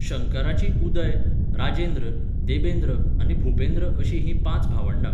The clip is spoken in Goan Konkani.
शंकराचीं उदय, राजेंद्र, देबेंद्र आनी भूपेंद्र अशीं हीं पांच भावंडां.